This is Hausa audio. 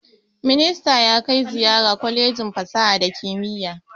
Ministan ya kai ziyara kwalejin fasaha da kimiyya